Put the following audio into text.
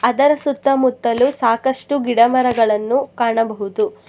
ಅದರ ಸುತ್ತಮುತ್ತಲು ಸಾಕಷ್ಟು ಗಿಡ ಮರಗಳನ್ನು ಕಾಣಬಹುದು.